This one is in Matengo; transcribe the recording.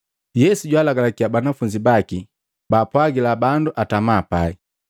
Yesu jwalagalakya banafunzi baki baapwagila bandu atama pai.